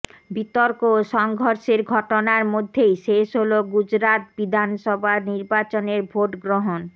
বিতর্ক ও সংঘর্ষের ঘটনার মধ্যেই শেষ হল গুজরাত বিধানসভা নির্বাচনের ভোটগ্রহণ